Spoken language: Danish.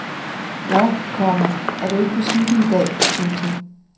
Nå, komma er du ikke på cykel i dag. punktum